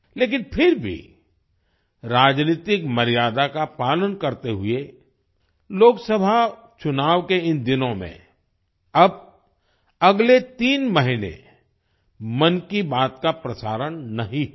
लेकिन फिर भी राजनीतिक मर्यादा का पालन करते हुए लोकसभा चुनाव के इन दिनों में अब अगले तीन महीने मन की बात का प्रसारण नहीं होगा